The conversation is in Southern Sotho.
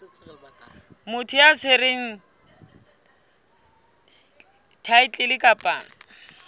motho ya tshwereng thaetlele kapa